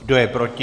Kdo je proti?